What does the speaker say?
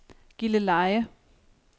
Gilleleje